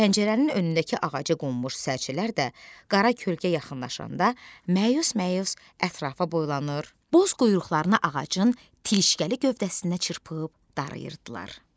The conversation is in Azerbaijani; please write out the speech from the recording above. Pəncərənin önündəki ağacı qonmuş sərcələr də qara kölgə yaxınlaşanda məyus-məyus ətrafa boylanır, boz quyruqlarını ağacın keşgəli gövdəsinə çırpıb darayırdılar.